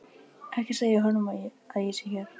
Ekki segja honum að ég sé hér.